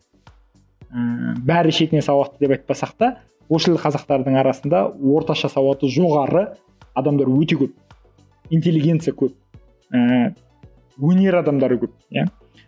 ыыы бәрі шетінен сауатты деп айтпасақ та орыс тілді қазақтардың арасында орташа сауаты жоғары адамдар өте көп интеллигенция көп ііі өнер адамдары көп иә